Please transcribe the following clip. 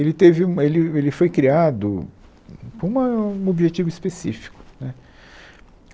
Ele teve uma ele ele foi criado com uma um objetivo específico né